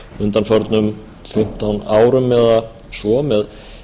undanförnum fimmtán árum eða svo með